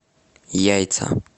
яйца